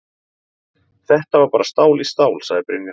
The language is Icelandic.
Þetta var bara stál í stál, sagði Brynjar.